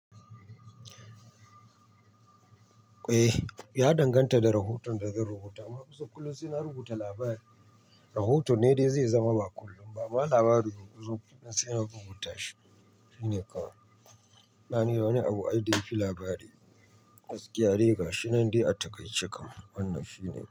Eh ya danganta da rahoton da zan rubuta. Amma kusan kullum saina rubuta labarai. Rahoto ne dai zai zama ba kullum ba. Amma labari kam kusan kullum saina rubuta shi. Shine kawai. Babu wani abu ai dai fi labari. Gaskiya dai gashinan dai a taƙaice kam wannan shine kawai.